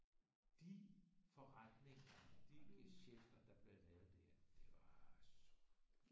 De forretninger de gesjæfter der blev lavet der de var